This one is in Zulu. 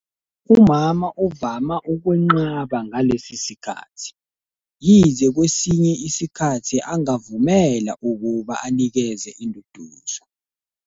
Umama uvama ukwenqaba ngalesi sikhathi, yize kwesinye isikhathi angavumela ukuba anikeze induduzo.